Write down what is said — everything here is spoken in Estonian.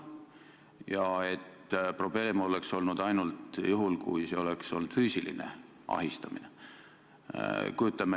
Kas probleem oleks ka teie arvates olnud ainult juhul, kui see oleks kasvanud füüsiliseks ahistamiseks?